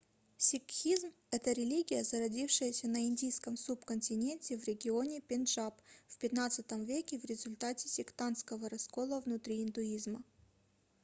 сикхизм это религия зародившаяся на индийском субконтиненте в регионе пенджаб в xv веке в результате сектантского раскола внутри индуизма